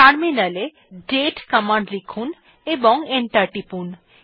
টার্মিনালএ দাতে কমান্ড লিখুন এবং এন্টার টিপুন